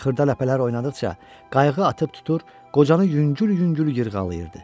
Xırda ləpələr oynadıqca qayığı atıb tutur, qocanı yüngül-yüngül yırğalayırdı.